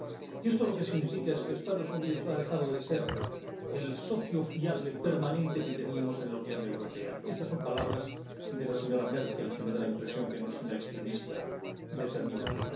Y esto lo que significa es que Estados Unidos ha dejado de ser el socio fiable permanente que teníamos en la Unión Europea —y estas son palabras de la señora Merkel, que me da la impresión de que no es una extremista determinante—.